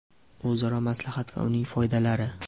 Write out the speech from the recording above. O‘zaro maslahat va uning foydalari!.